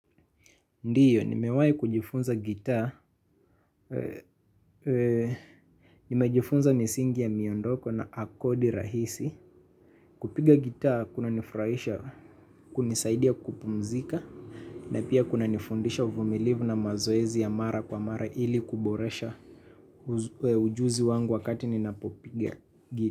Ndiyo, nimewai kujifunza gitaa, nimejifunza misingi ya miondoko na akodi rahisi. Kupiga gitaa kunanifraisha, kunisaidia kupumzika, na pia kunanifundisha uvumilivu na mazoezi ya mara kwa mara ili kuboresha ujuzi wangu wakati ninapopiga gi.